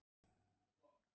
Ég skil þetta ekki alveg.